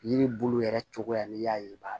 Yiri bulu yɛrɛ cogoya n'i y'a ye i b'a